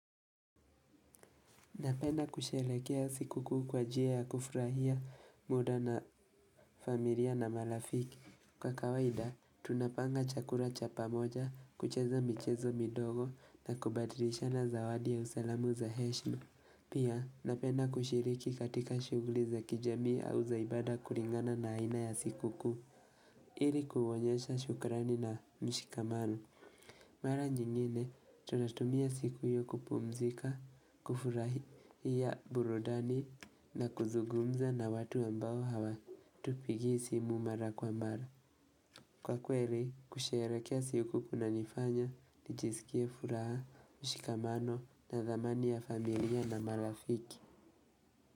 Napenda kushelekea sikuku kwa jia ya kufurahia muda na familia na malafiki. Kwa kawaida, tunapanga chakura chapa moja, kucheza michezo midogo na kubadrisha na zawadi ya usalamu za heshma. Pia, napenda kushiriki katika shuguli za kijami au zaibada kuringana na haina ya sikuku. Ili kuhonyesha shukrani na mshikamano. Mara nyingine tunatumia siku hiyo kupumzika, kufurahi ya burudani na kuzugumza na watu ambao hawa tupigi simu mara kwa mara. Kwa kweli kusherekea siku kuna nifanya, nijisikie furaha, mshikamano na dhamani ya familia na marafiki.